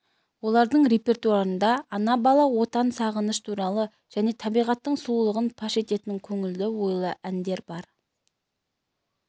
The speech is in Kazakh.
олардың репертуарында ана бала отан сағыныш туралы және табиғаттың сұлулығын паш ететін көңілді ойлы әндер бар